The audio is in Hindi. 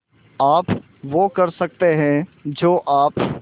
आप वो कर सकते हैं जो आप